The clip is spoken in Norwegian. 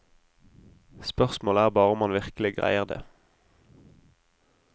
Spørsmålet er bare om han virkelig greier det.